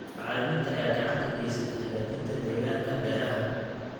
Bacriminta ayaa gacan ka geysta hagaajinta deegaanka beeraha.